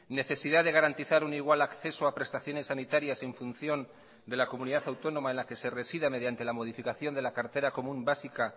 necesidad de garantizar un igual acceso a prestaciones sanitarias en función de la comunidad autónoma en la que se resida mediante la modificación de la cartera común básica